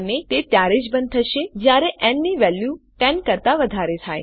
અને તે ત્યારે જ બંધ થશે જયારે ન ની વેલ્યુ 10 કરતાં વધારે થાય